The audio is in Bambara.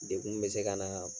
Degun bɛ se ka na yan.